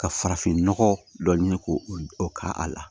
Ka farafinnɔgɔ dɔ ɲini k'o o k'a la